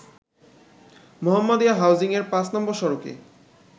মোহাম্মাদিয়া হাউজিংয়ের ৫ নম্বর সড়কে